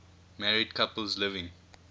married couples living